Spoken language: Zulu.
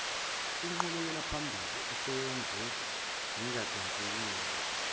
ingqubekelaphambili eseyenziwe ingadonsekeli